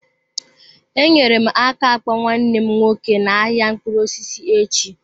Enyere m aka akpọ nwanne m nwoke n'ahịa mkpụrụ osisi echi.